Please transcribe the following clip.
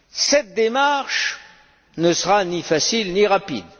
Cette démarche ne sera ni facile ni rapide.